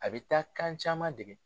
A bi taa kan caman dege.